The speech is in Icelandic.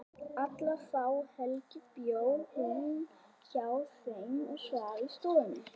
Alla þá helgi bjó hún hjá þeim og svaf í stofunni.